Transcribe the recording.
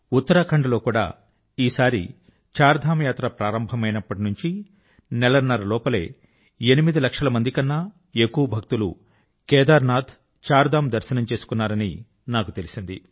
ఉత్తరాఖండ్ లో కూడా ఈ సారి చార్ధామ్ యాత్ర ప్రారంభమైనప్పటి నుంచి నెలన్నర లోపలే ఎనిమిది లక్షల మంది కన్నా ఎక్కువ భక్తులు కేదార్నాథ్ ధామ్ దర్శనం చేసుకున్నారని నాకు తెలిసింది